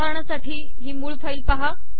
उदाहरणासाठी हि मूळ फाईल पाहा